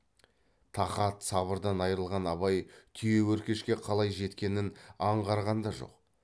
тақат сабырдан айрылған абай түйеөркешке қалай жеткенін аңғарған да жоқ